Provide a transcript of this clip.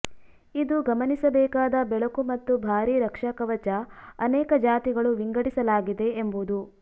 ಇದು ಗಮನಿಸಬೇಕಾದ ಬೆಳಕು ಮತ್ತು ಭಾರೀ ರಕ್ಷಾಕವಚ ಅನೇಕ ಜಾತಿಗಳು ವಿಂಗಡಿಸಲಾಗಿದೆ ಎಂಬುದು